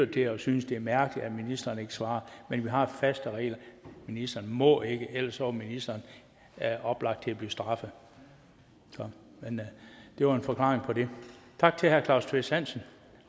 det og synes det er mærkeligt at ministeren ikke svarer men vi har faste regler ministeren må ikke ellers var ministeren oplagt at straffe så det var en forklaring på det tak til herre claus kvist hansen